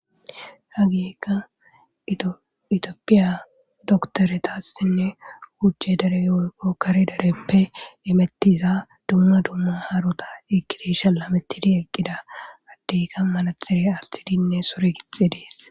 Hageykka itophiya dokiteretasinne wuc'e derey woykko kare dereppe imetiza dumma dumma harota ekid shalametid eqida. Adeyka manaxire athidinne sure gixides.